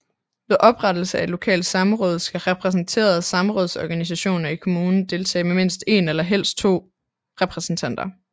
Ved oprettelse af et lokalt samråd skal repræsenterede samrådsorganisationer i kommunen deltage med mindst 1 og helst 2 repræsentanter